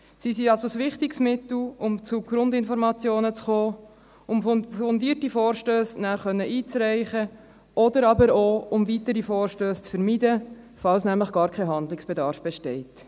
Sie sind also ein wichtiges Mittel, um zu Grundinformationen zu kommen, um nachher fundierte Vorstösse einreichen zu können, oder aber auch, um weitere Vorstösse zu vermeiden, falls nämlich gar kein Handlungsbedarf besteht.